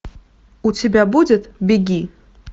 у тебя будет беги